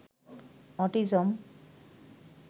autism